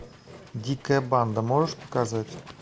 дикая банда можешь показать